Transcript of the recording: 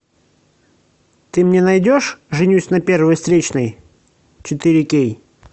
ты мне найдешь женюсь на первой встречной четыре кей